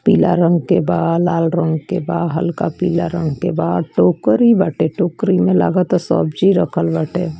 पीला रंग के बाल लाल रंग बा हल्का पीला रंग के बाद टोकरी बाटे टोकरी में लागत है सब्जी रखल बाटे।